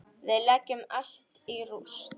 Við leggjum allt í rúst.